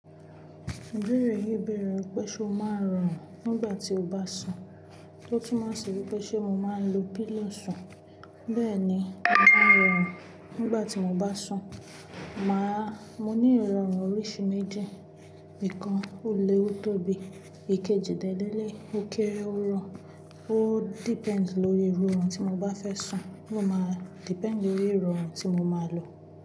Ibeẹ̀rẹ̀ yíi bẹ̀rẹ̀ wipé, ṣé o máa ń rọrùn nígbà tí o bá sùn? Tí ó túmò sì wí pé ṣé mo máa ń lo pillow sùn? Bẹ́ẹ̀ni, mo máa ń rọrùn nígbà tí mo bá sùn, màá́, mo ní ìrọ̀rùn oríṣi méjì, ìkan ò lé ó tó bi, èkejì dẹ́ lẹ́leyi, ò kèré ó rọ, ó depends lórí irú oorun tí mo bá fẹ́ sùn, ó máa depend lórí irorun tí mo máa lò.